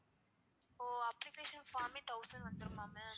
ஒ application form ஏ thousand வந்துருமா ma'am?